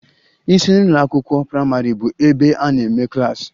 Isi ụlọ n'ụlọ akwụkwọ praịmarị bụ ebe a na-eme klas